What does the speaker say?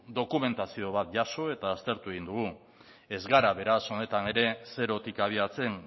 dokumentazio bat jaso eta aztertu egin dugu ez gara beraz honetan ere zerotik abiatzen